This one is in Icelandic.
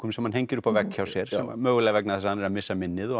sem hann hengir upp á vegg hjá sér mögulega vegna þess að hann er að missa minnið og